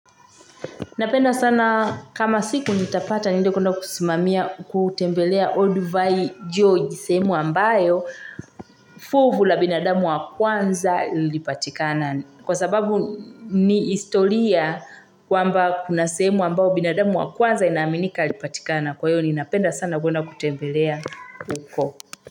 Napenda sana kama siku nitapata niende kwenda kusimamia kutembelea Old V. George sehemu ambayo fuvu la binadamu wa kwanza lilipatikana. Kwa sababu ni historia kwamba kuna sehemu ambayo binadamu wa kwanza inaminika alipatikana. Kwa hiyo ni napenda sana kwenda kutembelea huko.